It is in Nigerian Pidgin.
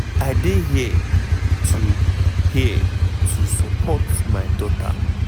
"i dey here to here to support my daughter.